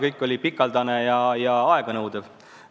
Kõik see oli aeganõudev.